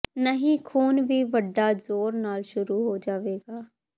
ਨਹੀ ਖ਼ੂਨ ਵੀ ਵੱਡਾ ਜ਼ੋਰ ਨਾਲ ਸ਼ੁਰੂ ਹੋ ਜਾਵੇਗਾ